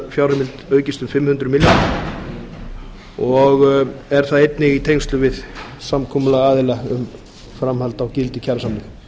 fjárheimild aukist um fimm hundruð milljónir og einnig í tengslum við samkomulag aðila um framhald á gildi kjarasamninga